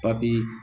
Papii